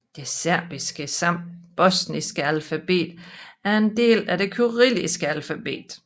Det serbiske samt bosniske alfabet er en del af det kyrilliske alfabet